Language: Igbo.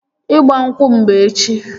Ịgba nkwụ m bụ echi